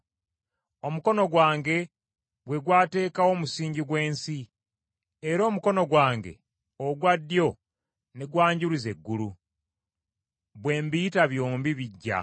Omukono gwange gwe gwateekawo omusingi gw’ensi, era omukono gwange ogwa ddyo ne gwanjuluza eggulu. Bwe mbiyita byombi bijja.